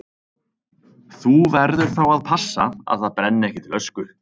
Þú verður þá að passa að það brenni ekki til ösku.